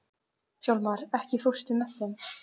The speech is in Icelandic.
Hjálmar, ekki fórstu með þeim?